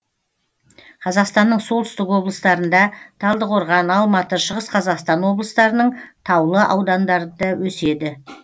қазақстанның солтүстік облыстарында талдықорған алматы шығыс қазақстан облыстарының таулы аудандарында өседі